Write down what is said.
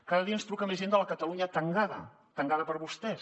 cada dia ens truca més gent de la catalunya tangada tangada per vostès